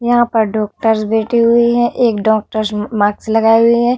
यहां पर डॉक्टर्स बैठी हुई है एक डॉक्टर्स मा-मास्क लगाये हुए है।